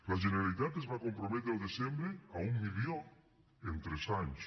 la generalitat es va comprometre al desembre a un milió en tres anys